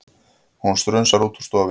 Hún strunsar út úr stofunni.